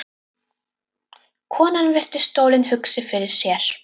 Konan virti stólinn hugsi fyrir sér.